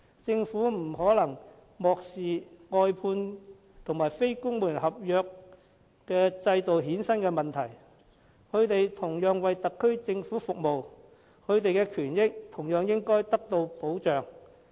政府不能漠視外判及非公務員合約制衍生的問題，他們同樣為特區政府服務，權益應同樣獲得保障。